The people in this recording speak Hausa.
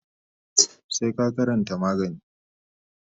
sai ka karanta magani.